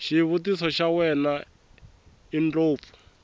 xivutiso xa wena indlopfu